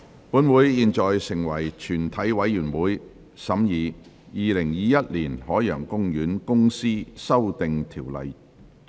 本會現在成為全體委員會，審議《2021年海洋公園公司條例草案》。